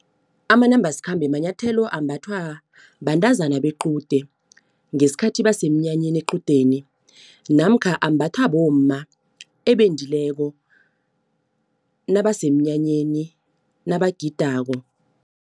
Amanambasikhambe manyathelo ambathwa bantazana bequde, ngesikhathi basemnyanyeni equdeni. Namkha ambathwa bomma ebendileko nabasemnyanyeni nabagidako.